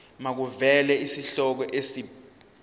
makuvele isihloko isib